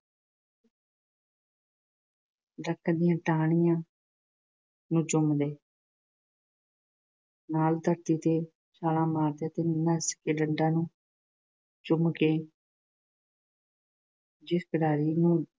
ਦਰਖ਼ਤ ਦੀਆਂ ਟਾਹਣੀਆਂ ਨੂੰ ਚੁੰਮਦੇ। ਨਾਲ ਧਰਤੀ ਤੇ ਛਾਲਾਂ ਮਾਰਦੇ ਅਤੇ ਨੱਸ ਕੇ ਡੰਡਾ ਚੁੰਮਦੇ। ਜਿਸ ਖਿਡਾਰੀ ਨੂੰ